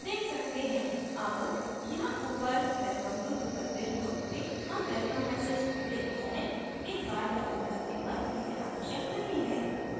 अब यहाँ ऊपर welcome to drupalville block में हम welcome message देखते है एक बार लॉगिन करने पर यह आवश्यक नहीं है